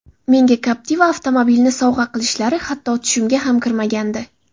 Menga Captiva avtomobilini sovg‘a qilishlari hatto tushimga ham kirmagandi.